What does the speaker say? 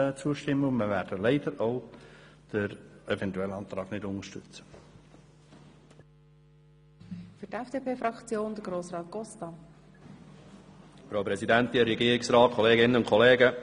Wir werden diesem Rückweisungsantrag nicht zustimmen und wir werden leider auch nicht den Eventualantrag unterstützen.